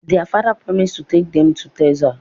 Their father promises to take them to Texas